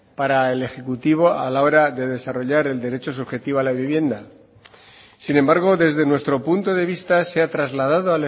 para el ejecutivo a la hora de desarrollar el derecho subjetivo a la vivienda sin embargo desde nuestro punto de vista se ha trasladado